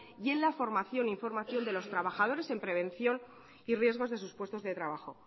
y en la formación e información de los trabajadores en prevención y riesgos de sus puestos de trabajo